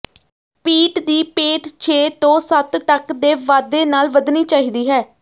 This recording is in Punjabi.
ਪੀਟ ਦੀ ਪੇਟ ਛੇ ਤੋਂ ਸੱਤ ਤਕ ਦੇ ਵਾਧੇ ਨਾਲ ਵਧਣੀ ਚਾਹੀਦੀ ਹੈ